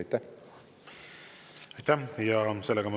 Aitäh!